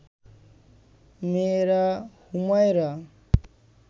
মেয়েরা, হুমায়রা